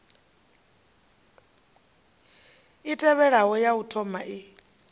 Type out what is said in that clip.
i tevhelaho ya u thomai